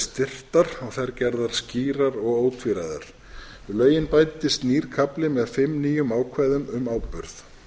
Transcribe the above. styrktar og þær gerðar skýrar og ótvíræðar við lögin bætast nýr kafli með fimm nýjum ákvæðum um áburð